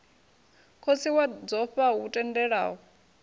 khotsi wa dzofha lu tendelaho